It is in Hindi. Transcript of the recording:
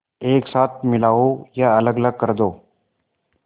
एक साथ मिलाओ या अलग कर दो